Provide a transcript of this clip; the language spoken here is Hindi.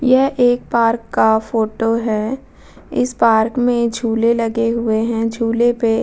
यह एक पार्क का फोटो है इस पार्क में झूले लगे हुए हैं झूले पे --